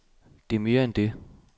Det er mere end det.